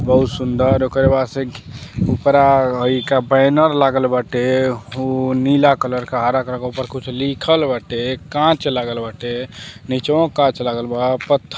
बहुत सुंदर ओकरे बाद से ऊपरा हइ का बैनर लागल बाटे हो नीला कलर क हरा कलर के ऊपर कुछ लिखल बाटे कांच लागल बाटे निचवो कांच लागल बा पत्थर --